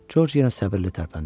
Corc yenə səbirli tərpəndi.